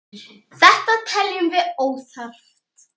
Þetta teljum við óþarft.